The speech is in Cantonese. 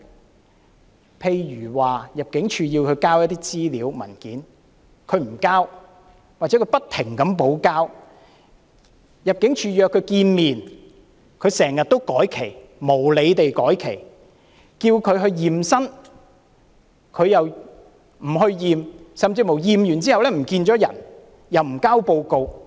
舉例來說，入境處要他們提交資料、文件，他們不遞交，或不停補交；入境處約他們見面，他們卻經常無理地要求改期；要求他驗身，他們卻不去驗身，甚至在驗身後失去蹤影，又不交回驗身報告。